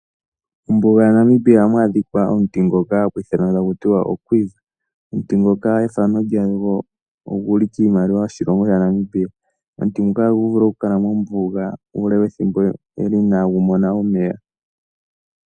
Ombuga yaNamibia ohamu adhikwa omuti ngoka hagu ithanwa akutiwa oQuiva. Omuti ngoka ethano lyago oguli kiimaliwa yoshilongo shaNamibia. Omuti ngoka agu vulu oku kala mombuga uule wethimbo inagu mona omeya.